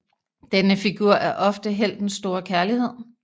Denne figur er ofte heltens store kærlighed